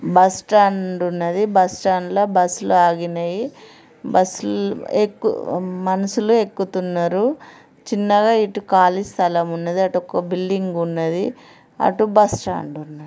Bus stand ఉన్నది. Bus stand ల bus లు ఆగినయి. బస్సు లు ఎక్కు ఉ మనుషులు ఎక్కుతున్నారు. చిన్నగా ఇటు ఖాళీ స్థలం ఉన్నది. అటు ఒక్క బిల్డింగ్ ఉన్నది. అటు బస్టాండు ఉన్నది.